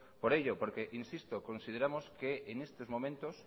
por ello porque insisto consideramos que en estos momentos